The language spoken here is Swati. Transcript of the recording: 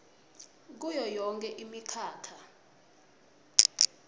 kuyo yonkhe imikhakha